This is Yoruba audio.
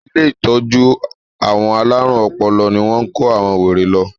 Ilé ìtọ́jú àwọn alárùn ọpọlọ ní wọ́n kó àwọn wèrè lọ.